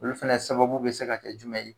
Olu fana sababu bɛ se ka kɛ jumɛn ye